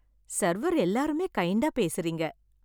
Server எல்லாருமே கைண்டா பேசறீங்க.